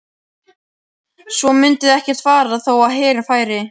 Svo myndu þær ekkert fara þó að herinn færi.